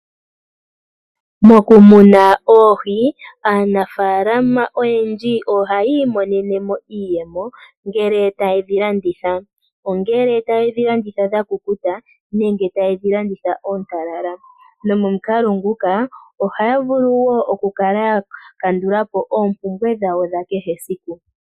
Moku muna oohi, aanafaalama oyendji ohayi imonenemo iiyemo ngele tayedhi landitha ongele tayedhi landitha dha kukuta nenge tayedhi landitha oontalala nomomukalo nguka ohaya vulu wo oku kala ya kandulapo oompumbwe dhawo dha kehe esiku.